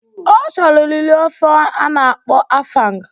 Ọ chọrọ liri ofe ana akpo afang